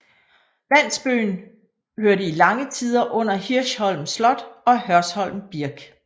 Landsbyen hørte i lange tider under Hirschholm Slot og Hørsholm Birk